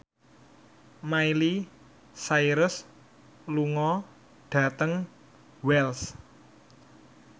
Miley Cyrus lunga dhateng Wells